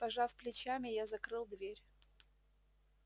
пожав плечами я закрыл дверь